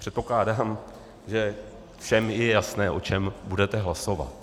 Předpokládám, že všem je jasné, o čem budete hlasovat.